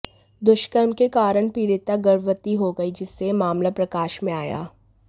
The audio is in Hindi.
दुष्कर्म के कारण पीड़िता गर्भवती हो गई जिससे यह मामला प्रकाश में आया